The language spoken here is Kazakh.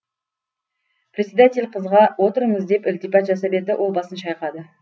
председатель қызға отырыңыз деп ілтипат жасап еді ол басын шайқады